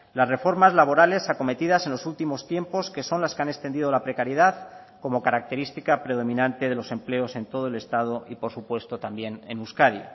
las reformas laborales acometidas en los últimos tiempos que son las que han extendido la precariedad como característica predominante de los empleos en todo el estado y por supuesto también en euskadi